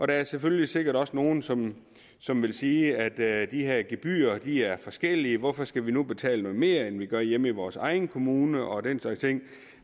der er selvfølgelig sikkert også nogen som som vil sige at de her gebyrer er forskellige og hvorfor skal vi nu betale noget mere end vi gør hjemme i vores egen kommune og den slags ting